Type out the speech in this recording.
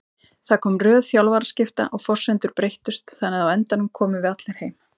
Það kom röð þjálfaraskipta og forsendur breyttust þannig að á endanum komum við allir heim.